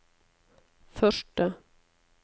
første